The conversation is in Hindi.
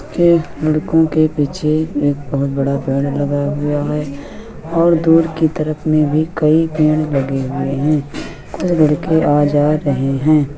लड़को के पीछे एक बहुत बड़ा पेड़ लगा हुआ है और दूर की तरफ में भी कई पेड़ लगे हुए है। खुद लड़के आ जा रहे हैं।